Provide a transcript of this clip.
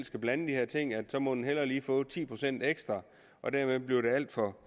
skal blande de her ting at så må den hellere lige få ti procent ekstra og dermed bliver det alt for